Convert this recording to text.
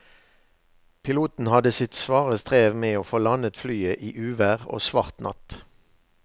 Piloten hadde sitt svare strev med å få landet flyet i uvær og svart natt.